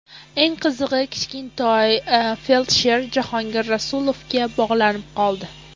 Eng qizig‘i Kichkintoy feldsher Jahongir Rasulovga bog‘lanib qoldi.